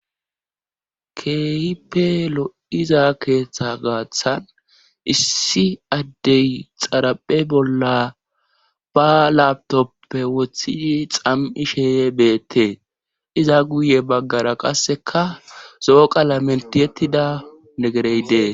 Keeyipe lo'iza keeththa gaaththan issi addey xaraphe bolla ba latopppe wothii xam'i sheeye beette iza guye baggara qasseka zo'oqa la mentiyettida negereydee.